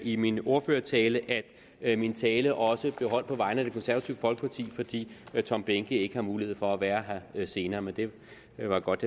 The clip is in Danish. i min ordførertale at min tale også blev holdt på vegne af det konservative folkeparti fordi herre tom behnke ikke har mulighed for at være her senere men det var godt